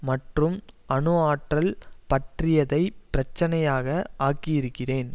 மற்றும் அணு ஆற்றல் பற்றியதை பிரச்சினையாக ஆக்கி இருக்கிறேன்